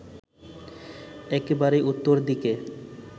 একেবারে উত্তর দিকে